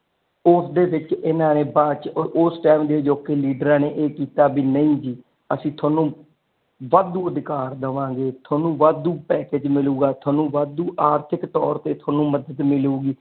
ਉਸ ਦੇ ਵਿਚ ਐਨਾ ਨੇ ਬਾਅਦ ਚ ਉਸ ਟਾਈਮ ਦੇ ਅਜੋਕੇ ਲੀਡਰ ਨੇ ਇਹ ਕੀਤਾ ਕੀ ਨਹੀਂ ਜੀ ਅਸੀਂ ਤੁਹਾਨੂੰ ਵਾਧੂ ਅਧਿਕਾਰ ਦਵਾਂਗੇ ਤੁਹਾਨੂੰ ਵਾਧੂ ਪੈਕਜ ਮਿਲੂਗਾ ਤੁਹਾਨੂੰ ਵਾਦੂ ਆਰਥਿੱਕ ਤੋਰ ਤੇ ਤੁਹਾਨੂੰ ਮਦਦ ਮਿਲੂਗੀ।